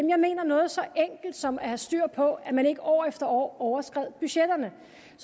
jeg mener noget så enkelt som det at have styr på at man ikke år efter år overskred budgetterne